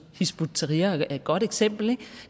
hizb ut tahrir er et godt eksempel